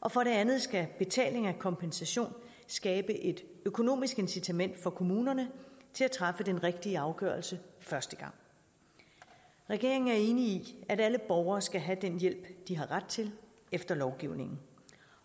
og for det andet skal betaling af kompensation skabe et økonomisk incitament for kommunerne til at træffe den rigtige afgørelse første gang regeringen er enig i at alle borgere skal have den hjælp de har ret til efter lovgivningen